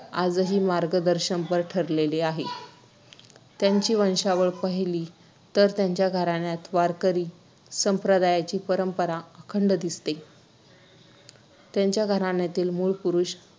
आजही मार्गदर्शनपर ठरलेले आहे. त्यांची वंशावळ पाहिली तर त्यांच्या घराण्यात वारकरी संप्रदायाची परंपरा अखंड दिसते. त्यांच्या घराण्यातील मूळ पुरुष